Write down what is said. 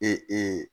Ee